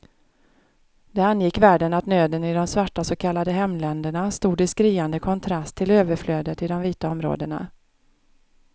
Det angick världen att nöden i de svarta så kallade hemländerna stod i skriande kontrast till överflödet i de vita områdena.